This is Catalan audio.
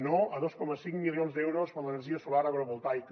no a dos coma cinc milions d’euros per a l’energia solar agrovoltaica